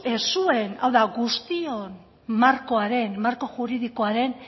zuen hau da guztion marko juridikoaren